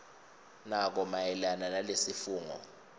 nako mayelana nalesifungo